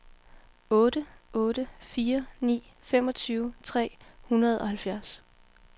otte otte fire ni femogtyve tre hundrede og halvfjerds